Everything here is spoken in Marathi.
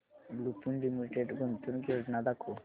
लुपिन लिमिटेड गुंतवणूक योजना दाखव